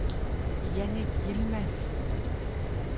Jannik Yilmaz